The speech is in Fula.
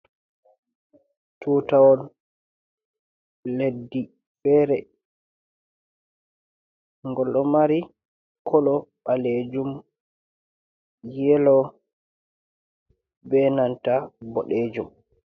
Tutawol leddi fere, ngol ɗo mari kolo ɓaleejum, yelo be nanta boɗeejum.